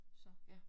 Så